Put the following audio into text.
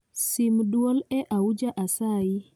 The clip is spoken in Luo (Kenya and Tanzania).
Sim dwol e auja asayi